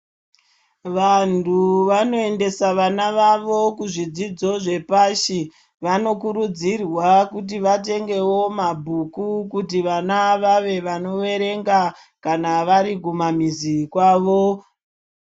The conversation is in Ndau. Vantu vanoendesa vana vavo kuzvidzidzo zvepashi vano kuridzirwa kuti vatenge mabhuku kuti vana vave vano verenga kana vari kumumamizi kwavo.